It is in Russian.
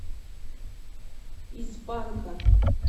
из банка